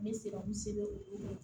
N bɛ se ka n se o ko la